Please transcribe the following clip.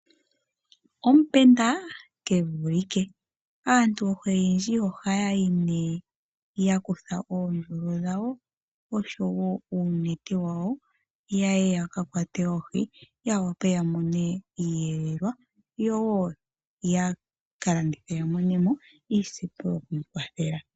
Omupenda ke vulike. Aantu oyendji ohaya yi nduno ya kutha oondjolo dhawo, oshowo uunete wawo ya ye ya ka kwate oohi ya wape ya mone iiyelelwa yo wo ya ka landithe ya mone mo iisimpo yoku ikwathela.